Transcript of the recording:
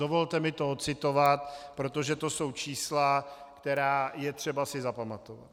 Dovolte mi to odcitovat, protože to jsou čísla, která je třeba si zapamatovat.